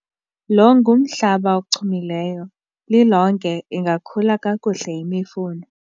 lo ngumhlaba ochumileyo, lilonke ingakhula kakuhle imifuno